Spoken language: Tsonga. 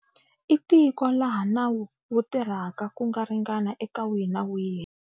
I tiko laha nawu wu tirhaka ku ringana eka wihi ni wihi.